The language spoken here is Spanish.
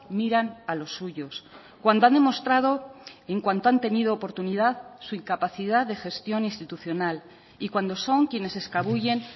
miran a los suyos cuando han demostrado en cuanto han tenido oportunidad su incapacidad de gestión institucional y cuando son quienes se escabullen